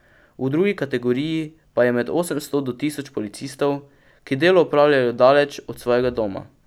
V drugi kategoriji pa je med osemsto do tisoč policistov, ki delo opravljajo daleč od svojega doma.